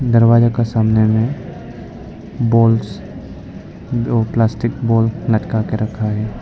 दरवाजा का सामने में बॉल्स प्लास्टिक बॉल लटका के रखा है।